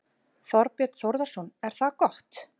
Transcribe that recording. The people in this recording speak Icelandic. Þorbjörn Þórðarson: Er það gott?